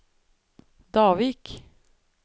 Davik